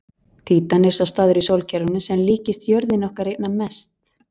Títan er sá staður í sólkerfinu sem líkist jörðinni okkar einna mest.